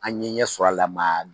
An ye ɲɛ sɔrɔ a la mɛ a